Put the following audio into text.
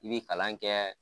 I bɛ kalan kɛ